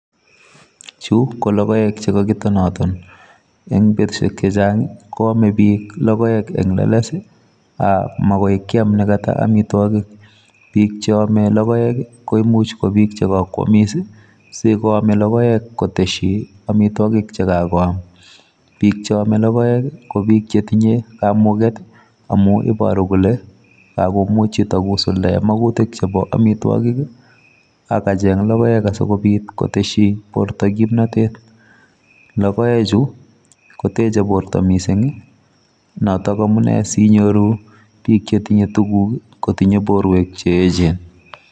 Chu ko logoek chekakitonaton, eng betusiek chechang ko amee biik logoek en leles, ak mokoi kiam nekata amitwogiik. Bik cheome logoek i,koimuch ko bik chekakwomis i,singoame logoek kotesyiin amitwogik chekakoam, bike cheome logoek ko biik chetinye kamugeet amun iboorukole yon kakomuch chuto kosuldaen makuutik chebo amitwogiik ak kacheng logoek asikobiit kotesyii bortoo kimnotet, logiechu koteche bortoo missing notok amune sinyooru bik chetingee tuguuk kotinye borwek cheechen